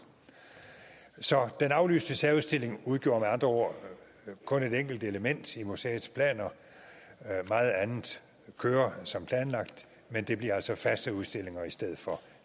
så den aflyste særudstilling udgjorde med andre ord kun et enkelt element i museets planer meget andet kører som planlagt men det bliver altså faste udstillinger i stedet for